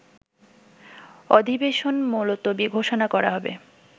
অধিবেশন মুলতবি ঘোষণা করা হবে